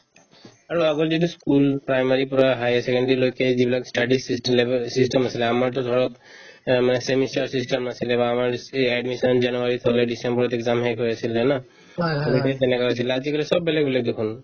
আৰু আগত যিতো school primary ৰ পৰা higher secondary লৈকে যিবিলাক study ৰ system বিলাকৰ system নাছিলে আমাৰতো ধৰক এহ্ মানে semester system নাছিলে বা আমাৰ admission যেনেকুৱা হৈছিলে december ত exam হৈ শেষ হৈছিলে ন আগতে তেনেকুৱা হৈছিলে আজিকালি চব বেলেগ বেলেগ দেখুন